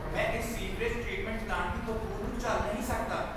ਮੈਂ ਇਸ sewerage treatment plant ਦੀ ਬਦਬੂ ਨੂੰ ਝੱਲ ਨਹੀਂ ਸਕਦਾ।